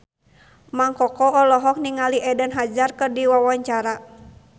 Mang Koko olohok ningali Eden Hazard keur diwawancara